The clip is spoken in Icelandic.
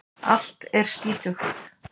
Allt er skítugt.